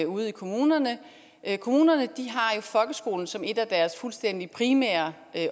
ude i kommunerne kommunerne har folkeskolen som et af deres fuldstændig primære